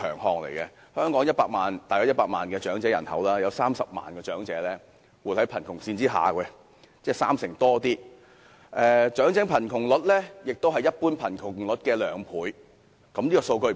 香港大約有100萬長者人口，當中30萬名活在貧窮線下，而長者貧窮率是一般貧窮率的兩倍。